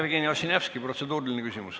Jevgeni Ossinovski, protseduuriline küsimus.